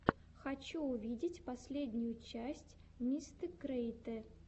хочу увидеть последнюю часть мистэкриэйтэ